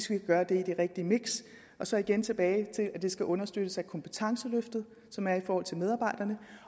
kan gøre det i det rigtige miks og så igen tilbage til at det skal understøttes af kompetenceløftet som er i forhold til medarbejderne